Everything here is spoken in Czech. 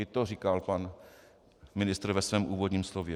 I to říkal pan ministr ve svém úvodním slově.